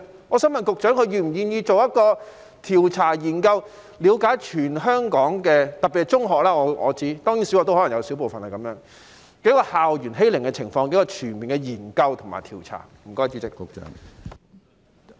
我想問局長是否願意進行一項調查研究，以了解全香港——特別是中學，當然小學可能也會有小部分——校園欺凌的情況，並進行全面研究和調查呢？